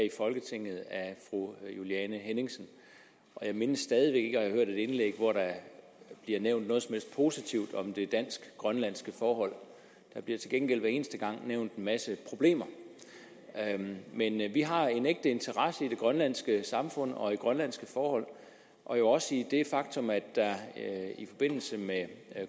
i folketinget af fru juliane henningsen og jeg mindes stadig væk ikke at have hørt et indlæg hvor der bliver nævnt noget som helst positivt om det dansk grønlandske forhold der bliver til gengæld hver eneste gang nævnt en masse problemer men vi har en ægte interesse i det grønlandske samfund og grønlandske forhold og jo også i det faktum at der i forbindelse med